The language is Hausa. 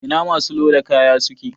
Ina masu loda kaya suke?